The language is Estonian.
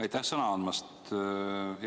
Aitäh sõna andmast!